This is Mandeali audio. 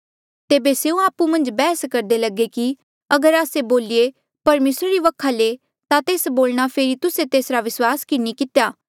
तेबे स्यों आपु मन्झ बैहस करदे लगे कि अगर आस्से बोलिए परमेसरा री वखा ले ता तेस बोलणा फेरी तुस्से तेसरा विस्वास कि नी कितेया